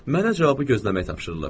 Mənə cavabı gözləmək tapşırılıb.